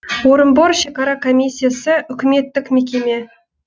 орынбор шекара комиссиясы үкіметтік мекеме